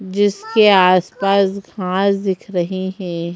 जीसके आस पास घास दिख रहे हैं।